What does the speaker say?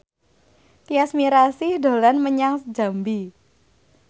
Tyas Mirasih dolan menyang Jambi